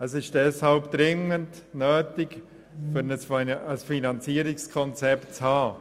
Es ist deshalb dringend nötig, über ein Finanzierungskonzept zu verfügen.